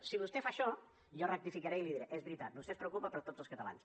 si vostè fa això jo rectificaré i li diré és veritat vostè es preocupa per tots els catalans